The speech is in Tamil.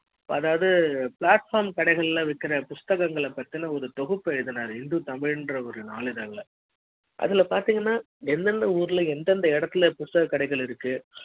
அத்தாவது பிளாட்பாரம் கடைகள்ல விக்கிற புத்தகங்கள் பத்தின ஒரு தொகுப்பு எழுதினாரு இந்து தமிழ்ல ன்ற ஒரு நாளிதழ அதுல பாத்தீங்கன்னா எந்த எந்த ஊர்ல எந்த எந்த இடத்துல புத்தக கடைகள் இருக்கு